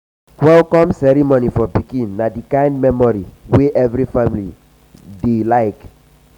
welcome ceremony for pikin na di kind memory wey every family dey family dey like.